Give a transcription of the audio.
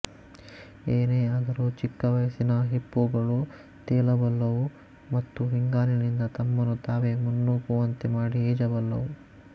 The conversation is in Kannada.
ಏನೇ ಆದರೂ ಚಿಕ್ಕ ವಯಸ್ಸಿನ ಹಿಪ್ಪೋಗಳು ತೇಲಬಲ್ಲವು ಮತ್ತು ಹಿಂಗಾಲಿನಿಂದ ತಮ್ಮನ್ನು ತಾವೇ ಮುನ್ನೂಕುವಂತೆ ಮಾಡಿ ಈಜಬಲ್ಲವು